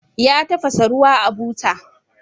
Ya tafasa ruwa a buta.